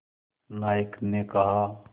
नायक ने कहा